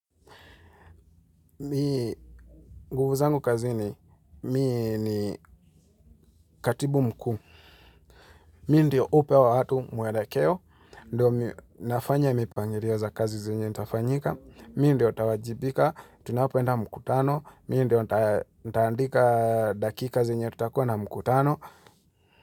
Mi nguvu zangu kazini katibu mkuu, mi ndio hupea watu mwelekeo, nafanya mipangilio za kazi zenye nitafanyika, mi ndio nitawajibika, tunapoenda mkutano, mi ndio nitandika dakika zenye tutakuwa na mkutano.